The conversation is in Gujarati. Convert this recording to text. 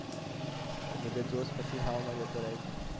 હા એ બધો જોશ પછી હવા માં જતો રહે છે